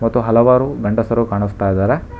ಮತ್ತು ಹಲವಾರು ಗಂಡಸರು ಕಾಣಿಸ್ತಾ ಇದಾರೆ.